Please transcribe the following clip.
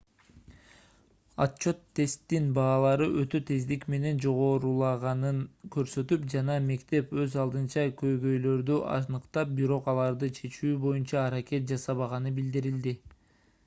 отчёт тесттин баалары өтө тездик менен жогорулаганын көрсөтүп жана мектеп өз алдынча көйгөйлөрдү аныктап бирок аларды чечүү боюнча аракет жасабаганы билдирилди